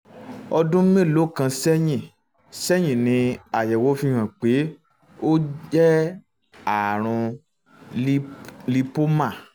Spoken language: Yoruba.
ọdún mélòó kan sẹ́yìn sẹ́yìn ni àyẹ̀wò fi hàn pé ó jẹ́ ààrùn lípómà